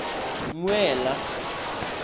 mmuela